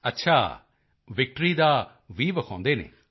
ਅੱਛਾ ਵਿਕਟਰੀ ਦਾ ਵ ਵਿਖਾਉਂਦੇ ਹਨ